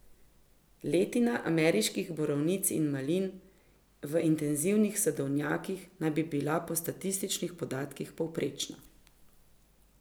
Letina ameriških borovnic in malin v intenzivnih sadovnjakih naj bi bila po statističnih podatkih povprečna.